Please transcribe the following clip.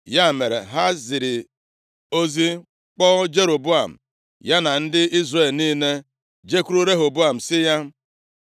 Ya mere, ha ziri ozi kpọọ Jeroboam, ya na ndị Izrel niile jekwuru Rehoboam sị ya: